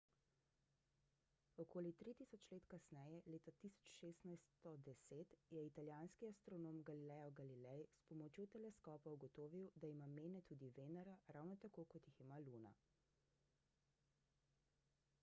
okoli tri tisoč let kasneje leta 1610 je italijanski astronom galileo galilei s pomočjo teleskopa ugotovil da ima mene tudi venera ravno tako kot jih ima luna